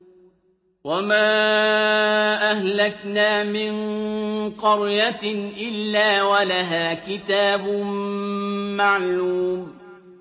وَمَا أَهْلَكْنَا مِن قَرْيَةٍ إِلَّا وَلَهَا كِتَابٌ مَّعْلُومٌ